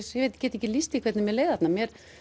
get ekki lýst því hvernig mér leið þarna